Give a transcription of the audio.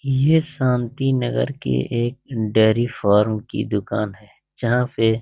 ये शांति नगर के एक डेयरी फॉर्म की दुकान है जहाँ पे --